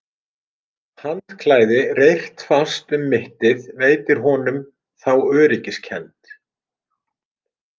Handklæði reyrt fast um mittið veitir honum þá öryggiskennd.